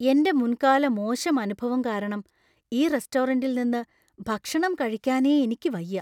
എന്‍റെ മുൻകാല മോശം അനുഭവം കാരണം ഈ റെസ്റ്റോറന്‍റിൽ നിന്ന് ഭക്ഷണം കഴിക്കാനേ എനിക്ക് വയ്യാ.